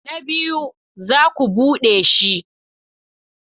Na biyu, za ku bude shi.